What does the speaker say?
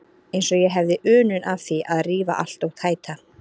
Eins og ég hefði unun af því að rífa allt og tæta.